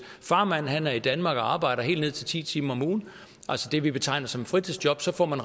farmand er i danmark og arbejder helt ned til ti timer om ugen altså det vi betegner som et fritidsjob får man